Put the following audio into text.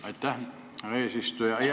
Aitäh, härra eesistuja!